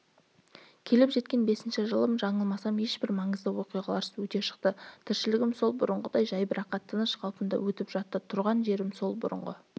келіп жеткен бесінші жылым жаңылмасам ешбір маңызды оқиғаларсыз өте шықты тіршілігім сол бұрынғыдай жайбарақат тыныш қалпында өтіп жатты тұрған жерім сол бұрынғы